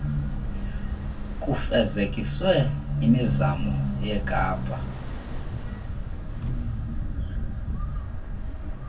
kufezekiswe imizamo yekapa